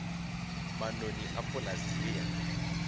manoni a polase ye ya